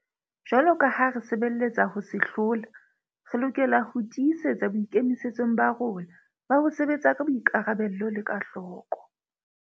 Jwaloka ha re sebeletsa ho se hlola, re lokela ho tii setsa boikemisetso ba rona ba ho sebetsa ka boikarabelo le ka hloko.